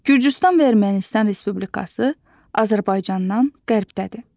Gürcüstan və Ermənistan Respublikası Azərbaycandan qərbdədir.